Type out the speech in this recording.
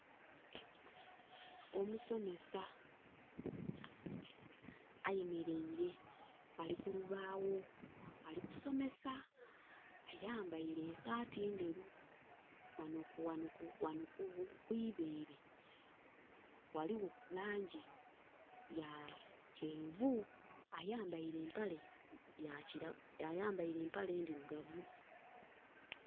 Omusomesa ayemereire Ali kulubawo ali somesa. Ayambaire esaati nderu. Wano kwibeere waliwo langi ya kyenvu, ayambaire mpale ndirugavu